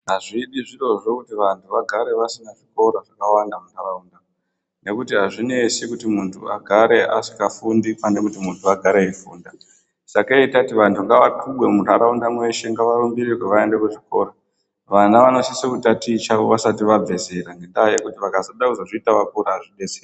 Hazvidi zvirozvo kuti vantu vagare vasina zvikora zvakawanda muntaraunda. Nekuti hazvinesi kuti muntu agare asikafundi pane kuti muntu agare eifunda. Sakei tati vantu ngavakubwe muntaraunda mweshe ngavarumbirirwe vaende kuchikora. Vana vanosisa kutaticha vasati vabve zera ngendaa yekuti vakazoda kuzozvita vakura hazvibetseri.